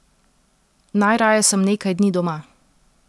Najraje sem nekaj dni doma.